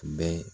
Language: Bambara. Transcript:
Bɛɛ